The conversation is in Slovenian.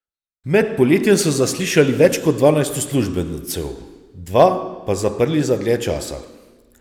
Med poletjem so zaslišali več kot dvanajst uslužbencev, dva pa zaprli za dlje časa.